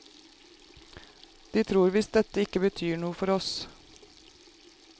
De tror visst dette ikke betyr noe for oss.